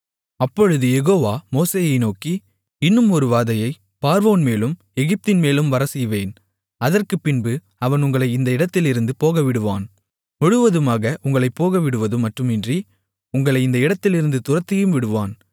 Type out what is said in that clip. அப்பொழுது யெகோவா மோசேயை நோக்கி இன்னும் ஒரு வாதையைப் பார்வோன்மேலும் எகிப்தின்மேலும் வரச்செய்வேன் அதற்குப்பின்பு அவன் உங்களை இந்த இடத்திலிருந்து போகவிடுவான் முழுவதுமாக உங்களைப் போகவிடுவதும் மட்டுமின்றி உங்களை இந்த இடத்திலிருந்து துரத்தியும் விடுவான்